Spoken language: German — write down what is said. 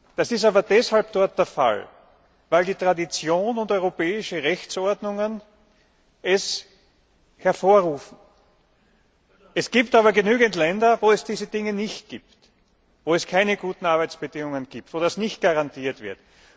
Das ist deshalb dort der Fall, weil Tradition und europäische Rechtsordnung es hervorrufen. Es gibt aber genügend Länder, wo es das alles nicht gibt, wo es keine guten Arbeitsbedingungen gibt, wo das nicht garantiert wird.